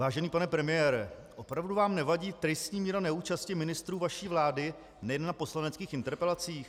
Vážený pane premiére, opravdu vám nevadí tristní míra neúčasti ministrů vaší vlády nejen na poslaneckých interpelacích?